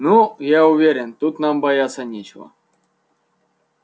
ну я уверен тут нам бояться нечего